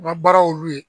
U ka baara y'olu ye